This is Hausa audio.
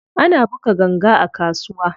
Ana buga ganga a kasuwa.